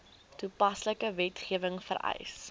toepaslike wetgewing vereis